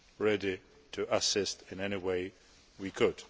ready to assist in any way we can.